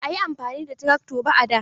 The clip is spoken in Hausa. Ba a yi amfani da trakto ba a da.